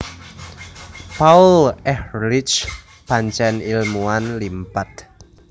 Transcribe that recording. Paul Ehrlich pancen ilmuwan limpad